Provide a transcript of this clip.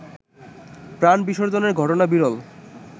প্রাণ বিসর্জনের ঘটনা বিরল